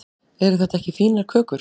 eru þetta ekki fínar kökur